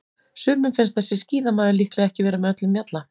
Sumum finnst þessi skíðamaður líklega ekki vera með öllum mjalla.